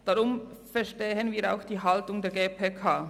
Darum verstehen wir auch die Haltung der GPK.